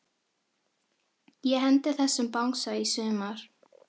Ég hendi þessum bangsa í sumar.